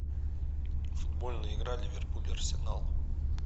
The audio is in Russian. футбольная игра ливерпуль арсенал